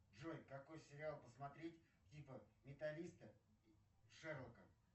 джой какой сериал посмотреть типа менталиста шерлока